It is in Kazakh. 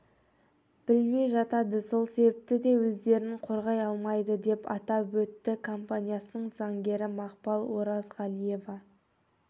білмей жатады сол себепті де өздерін қорғай алмайды деп атап өтті компаниясының заңгері мақпал оразғалиева